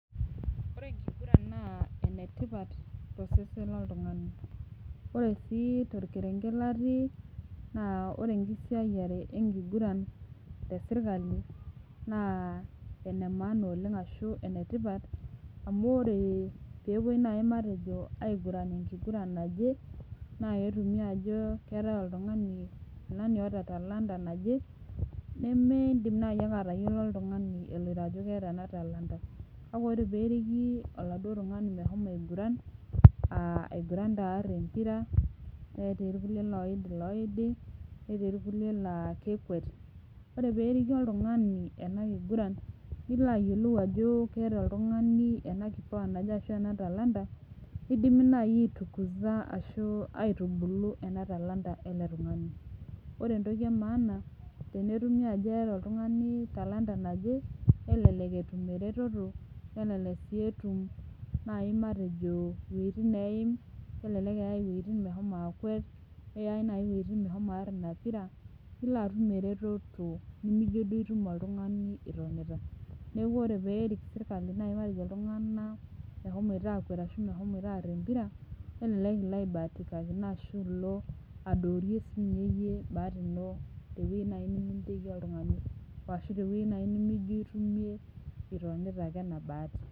Ore enkigura naa enetipat tosesen loltung'ani ore sii torkerenget latii naa ore enkisiayiare enkiguran tesirkali naa ene maana oleng ashu enetipat amu ore peepuoi naaji matejo aiguran enkiguran naje naa ketumi aajo keetae oltung'ani fulani oota talanta naje nemindim naaji ake atayiolo oltung'ani eloito ajo keeta ena talanta kake ore peeriki oladuo tung'ani meshomo aiguran uh aiguran taa arr empira netii irkulie loid iloidi netii irkulie laa kekwet ore periki oltung'ani ena kiguran nilo ayiolou ajo keeta oltung'ani ena kipawa naje ashu ena talanta nidimi naaji aitukuza ashu aitubulu ena talanta ele tung'ani ore entoki e maana tenetumi ajo eeta oltung'ani talanta naje nelelek etum eretoto nelelek sii etum naaji matejo iwuejitin neim kelelek eyai iwuejitin mehomo akwet neyai naaji iwuejitin mehomo arr ina pira nilo atum eretoto nimijio duo itum oltung'ani itonita niaku ore peerik sirkali naaji matejo iltung'anak mehomoito akwet ashu mehomoito arr empira kelelek ilo aibatikino ashu ilo adoorie sinye iyie bahati ino tewueji neminteki naaji oltung'ani woashu tewueji naaji nemijio itumie itonita ake ena bahati.